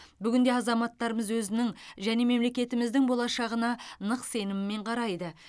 бүгінде азаматтарымыз өзінің және мемлекетіміздің болашағына нық сеніммен қарайды